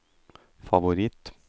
favoritt